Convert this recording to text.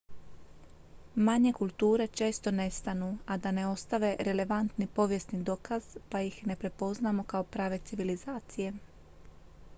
manje kulture često nestanu a da ne ostave relevantni povijesni dokaz pa ih ne prepoznamo kao prave civilizacije